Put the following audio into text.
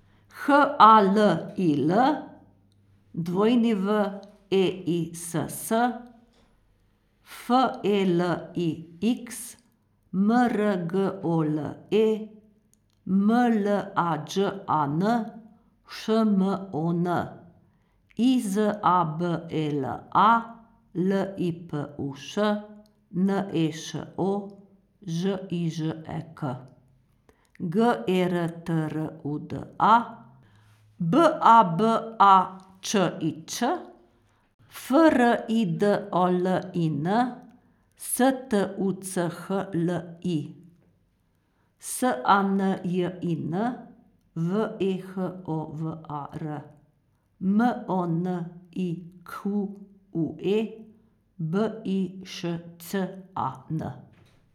H A L I L, W E I S S; F E L I X, M R G O L E; M L A Đ A N, Š M O N; I Z A B E L A, L I P U Š; N E Š O, Ž I Ž E K; G E R T R U D A, B A B A Č I Ć; F R I D O L I N, S T U C H L I; S A N J I N, V E H O V A R; M O N I Q U E, B I Š Ć A N.